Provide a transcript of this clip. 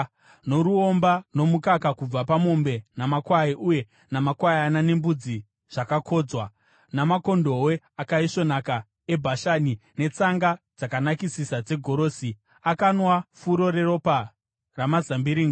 noruomba nomukaka kubva pamombe namakwai uye namakwayana nembudzi zvakakodzwa, namakondobwe akaisvonaka eBhashani, netsanga dzakanakisisa dzegorosi. Akanwa furo reropa ramazambiringa.